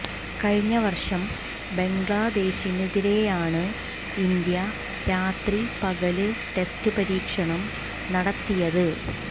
കഴിഞ്ഞ വര്ഷം ബംഗ്ലാദേശിനെതിരെയാണ് ഇന്ത്യ രാത്രി പകല് ടെസ്റ്റ് പരീക്ഷണം നടത്തിയത്